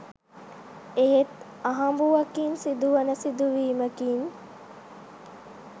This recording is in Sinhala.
එහෙත් අහඹුවකින් සිදු වන සිදු වීමකින්